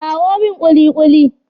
kawo min kulikuli!